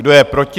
Kdo je proti?